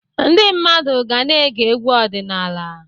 Ndị mmadụ ga na-ege egwu ọdịnala.